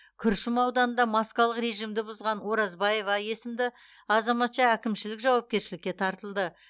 күршім ауданында маскалық режимді бұзған оразбаева есімді азаматша әкімшілік жауапкершілікке тартылды